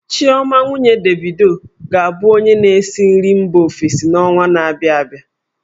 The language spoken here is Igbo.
Chioma, nwunye Davido, ga-abụ onye na-esi nri mba ofesi n'ọnwa na-abịa abịa.